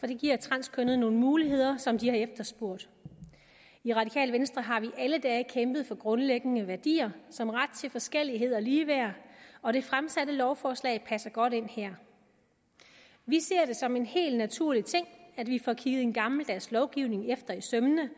det giver transkønnede nogle muligheder som de har efterspurgt i radikale venstre har vi alle dage kæmpet for grundlæggende værdier som ret til forskellighed og ligeværd og det fremsatte lovforslag passer godt ind her vi ser det som en helt naturlig ting at vi får kigget en gammeldags lovgivning efter i sømmene